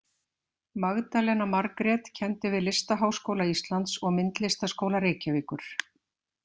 Magdalena Margrét kenndi við Listaháskóla Íslands og Myndlistaskóla Reykjavíkur.